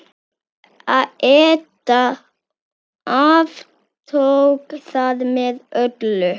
Edda aftók það með öllu.